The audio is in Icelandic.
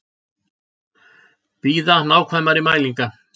Bíða nákvæmari mælinga